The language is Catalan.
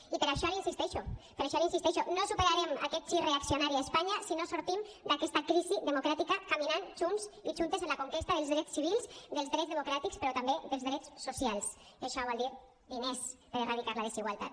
i per això l’hi insisteixo per això hi insisteixo no superarem aquest gir reaccionari a espanya si no sortim d’aquesta crisi democràtica caminant junts i juntes a la conquesta dels drets civils dels drets democràtics però també dels drets socials i això vol dir diners per erradicar la desigualtat